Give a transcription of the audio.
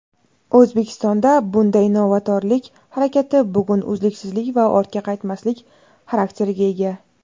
O‘zbekistonda bunday novatorlik harakati bugun uzluksizlik va ortga qaytmaslik xarakteriga ega.